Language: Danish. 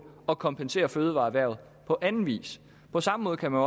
at kompensere fødevareerhvervet på anden vis på samme måde kan man